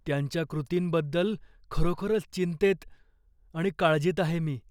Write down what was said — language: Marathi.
त्यांच्या कृतींबद्दल खरोखरच चिंतेत आणि काळजीत आहे मी.